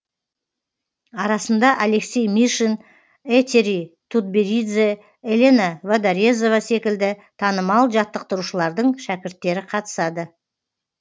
арасында алексей мишин этери тутберидзе елена водорезова секілді танымал жаттықтырушылардың шәкірттері қатысады